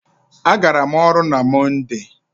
A gara m ọrụ na Mọnde.